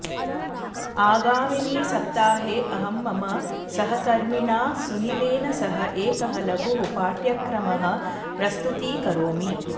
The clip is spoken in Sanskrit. आगामिनि सप्ताहे अहं मम सहकर्मिणा सुनीलेन सह एकः लघुः पाठ्यक्रमः प्रस्तुतीकरोमि